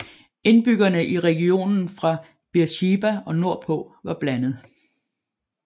Indbyggerne i regionen fra Beersheba og nordpå var blandet